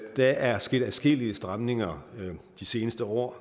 der er sket adskillige stramninger de seneste år